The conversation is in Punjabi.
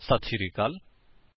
ਸਾਡੇ ਨਾਲ ਜੁੜਣ ਲਈ ਧੰਨਵਾਦ